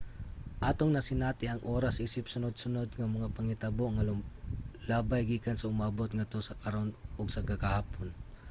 atong nasinati ang oras isip sunod-sunod nga mga panghitabo nga lumalabay gikan sa umaabot ngadto sa karon ug sa kagahapon